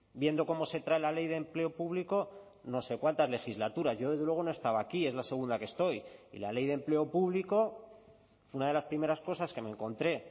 viendo cómo se trae la ley de empleo público no sé cuántas legislaturas yo desde luego no estaba aquí es la segunda que estoy y la ley de empleo público una de las primeras cosas que me encontré